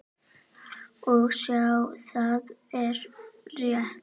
Og sjá, það er rétt.